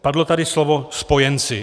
Padlo tady slovo spojenci.